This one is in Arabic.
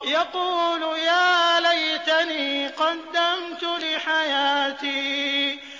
يَقُولُ يَا لَيْتَنِي قَدَّمْتُ لِحَيَاتِي